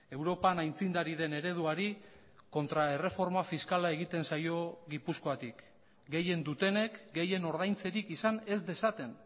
europan aitzindari den ereduari kontra erreforma fiskala egiten zaio gipuzkoatik gehien dutenek gehien ordaintzerik izan ez dezaten